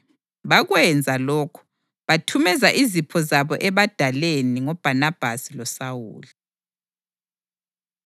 Bakwenza lokhu, bathumeza izipho zabo ebadaleni ngoBhanabhasi loSawuli.